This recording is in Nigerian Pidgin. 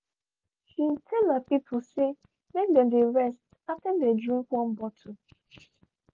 shey shey tell her people say make them dey rest after them drink one bottle.